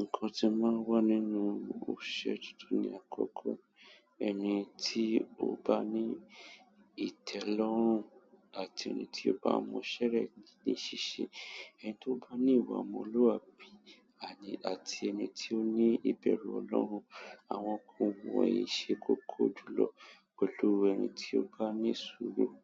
Nǹkan tí ó máa ń wá nínú òṣìṣẹ́ tuntun ni àkọ́kọ́, ẹni tí ó bá ní ìtẹ̀lọ́rùn àti ẹni tí ó bá mu iṣẹ́ rẹ̀ ní ṣíṣe, ẹni tó bá ní ìwà ọmọlúwàbí àti ẹni tí ó ní ìbẹ̀rù Ọlọ́run. Àwọn nǹkan wọ̀nyí ṣe kókó jùlọ pẹ̀lú ẹni tí ó bá ní sùúrù.